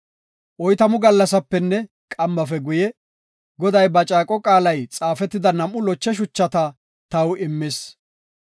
Oytamu gallasapenne qammafe guye, Goday ba caaqo qaalay xaafetida nam7u loche shuchata taw immis.